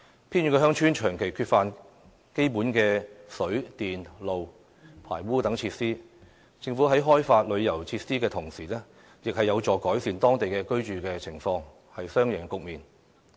偏遠鄉村長期缺乏基本的水、電、路、排污等設施，而藉着政府在該等鄉村開發旅遊設施，當地居民的居住情況亦將獲得改善，締造雙贏局面。